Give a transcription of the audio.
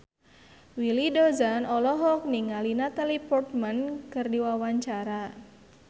Willy Dozan olohok ningali Natalie Portman keur diwawancara